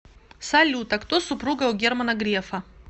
салют а кто супруга у германа грефа